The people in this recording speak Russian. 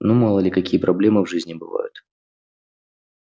ну мало ли какие проблемы в жизни бывают